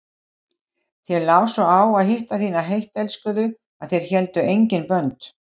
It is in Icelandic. Þér lá svo á að hitta þína heittelskuðu að þér héldu engin bönd.